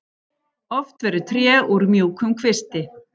Oft verður tré úr mjúkum kvisti.